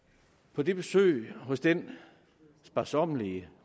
på det besøg hos den sparsommelige